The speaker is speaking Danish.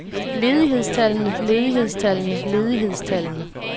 ledighedstallene ledighedstallene ledighedstallene